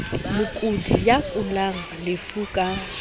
mokudi ya kulelang lefu ka